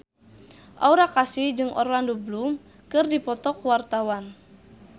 Aura Kasih jeung Orlando Bloom keur dipoto ku wartawan